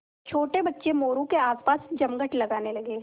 छोटे बच्चे मोरू के आसपास जमघट लगाने लगे